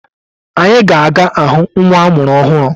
Anyi ga aga ahụ nwa amụrụ ọhụrụ.